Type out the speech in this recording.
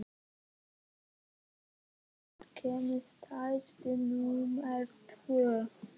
Gauja, hvenær kemur strætó númer tvö?